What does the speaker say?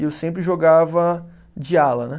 E eu sempre jogava de ala, né?